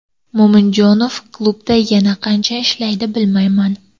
Mo‘minjonov klubda yana qancha ishlaydi bilmayman.